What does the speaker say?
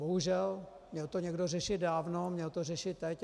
Bohužel, měl to někdo řešit dávno, měl to řešit teď.